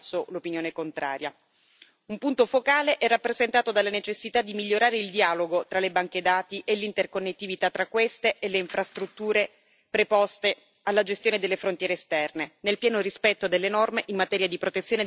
Un punto focale è rappresentato dalla necessità di migliorare il dialogo tra le banche dati e l'interconnettività tra queste e le infrastrutture preposte alla gestione delle frontiere esterne, nel pieno rispetto delle norme in materia di protezione dei dati e dei diritti fondamentali.